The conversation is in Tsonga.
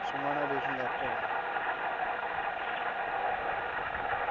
swin wana leswi nga kona